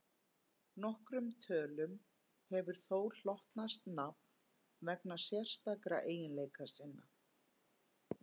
Nokkrum tölum hefur þó hlotnast nafn vegna sérstakra eiginleika sinna.